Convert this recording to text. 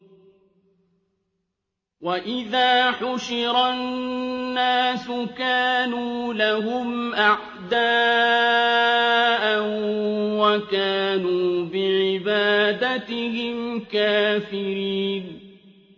وَإِذَا حُشِرَ النَّاسُ كَانُوا لَهُمْ أَعْدَاءً وَكَانُوا بِعِبَادَتِهِمْ كَافِرِينَ